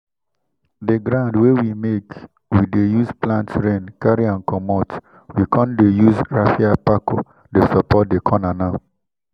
the ground wey we make we dey use plant rain carry am commot—we con dey use raffia pako dey support the corner now.